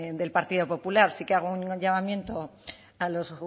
del partido popular sí que hago un llamamiento a los